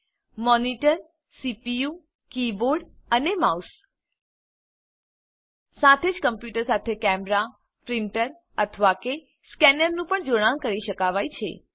monitor monitor CPU CPU keyboard keyboard અને mouse mouse સાથે જ કમ્પ્યુટર સાથે કૅમેરા પ્રીંટર અથવા કે સ્કેનરનું પણ જોડાણ કરી શકાવાય છે